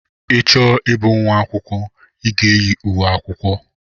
I chọọ ịbụ nwa akwụkwọ, I ga-eyi uwe akwụkwọ.